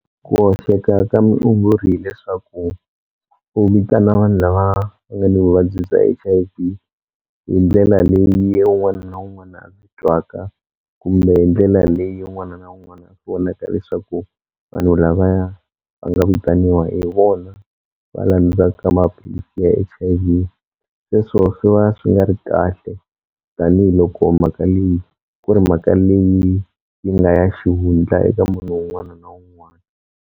Ku hoxeka ka mutshunguri hileswaku u vitana vanhu lava nga ni vuvabyi bya H_I_V hi ndlela leyi un'wana na un'wana a ndzi twaka kumbe hi ndlela leyi un'wana na un'wana leswaku vanhu lavaya va nga vitaniwa hi vona va landzaka maphilisi ya H_I_V, sweswo swi va swi nga ri kahle tanihiloko mhaka leyi ku ri mhaka leyi yi nga ya xihundla eka munhu un'wana na un'wana.